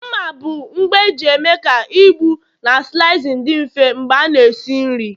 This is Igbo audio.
mma bụ ngwa eji eme ka ịgbụ na slicing dị mfe mgbe a na-esi nri